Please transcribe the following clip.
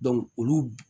olu